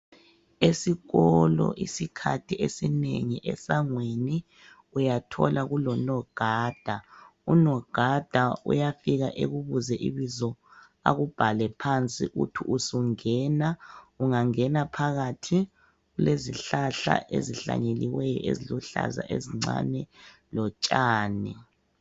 Esikolo isikhathi esinengi esangweni uyathola kulonogada, unogada uyafika ekubuze ibizo akubhale phansi uthi usungena. Ungangena phakathi kulezihlahla ezihlanyelweyo eziluhlaza ezincane lotshani.